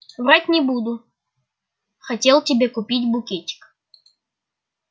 врать не буду хотел тебе купить букетик